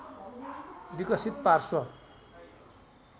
विकसित पार्श्व